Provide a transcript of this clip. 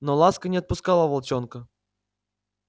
но ласка не отпускала волчонка